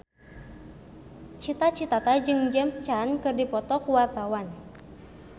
Cita Citata jeung James Caan keur dipoto ku wartawan